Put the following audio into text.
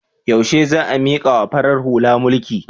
Yaushe za a mikawa farar hula mulki?